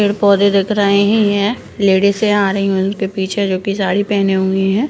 पेड़-पौधे दिख रहींहीं हैं लेडिसें आ रही हैं उनके पीछे जोकि साडी पहने हुई हैं।